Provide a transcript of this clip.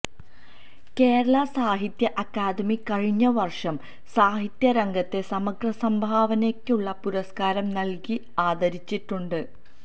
കേരള സാഹിത്യ അക്കാദമി കഴിഞ്ഞ വര്ഷം സാഹിത്യ രംഗത്തെ സമഗ്ര സംഭാവനയ്ക്കുള്ള പുരസ്കാരം നല്കി ആദരിച്ചിട്ടുണ്ട്